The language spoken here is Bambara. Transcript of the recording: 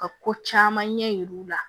Ka ko caman ɲɛ yir'u la